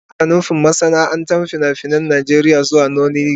Ana nufin masana'antar fina-finan Najeriya zuwa nollywood.